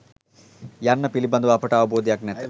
යන්න පිළිබඳව අපට අවබෝධයක් නැත.